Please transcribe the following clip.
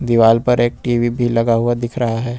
दीवाल पर एक टी_वी भी लगा हुआ दिख रहा है।